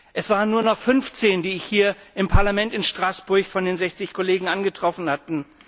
Es waren nur noch 15, die ich hier im Parlament in Straßburg von den 60 Kollegen angetroffen hatte.